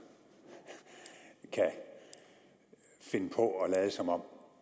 kan finde på at lade som om